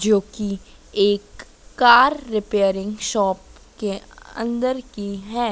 जोकि एक car repairing shop के अंदर की हैं।